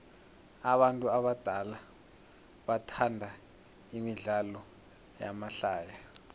abantu abadala bathanda imidlalo yamahlaya